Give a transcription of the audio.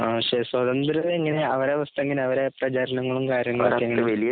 ആ സ്വതന്ത്രരേ എങ്ങനെയാ അവരുടെ അവസ്ഥ എങ്ങനെയാ അവരുടെ പ്രചരണങ്ങളും കാര്യങ്ങളും ഒക്കെ